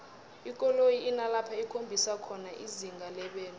ikoloyi inalapho ikhombisa khona izinga lebelo